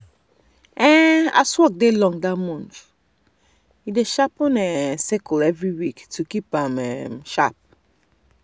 um as work dey long that month e dey sharpen e um sickle every week to keep am um sharp.